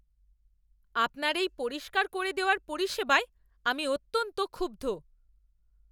আপনার এই পরিষ্কার করে দেওয়ার পরিষেবায় আমি অত্যন্ত ক্ষুব্ধ।